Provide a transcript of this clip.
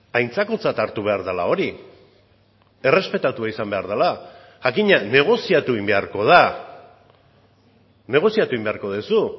aintzakotzat hartu behar dela hori errespetatua izan behar dela jakina negoziatu egin beharko da negoziatu egin beharko duzu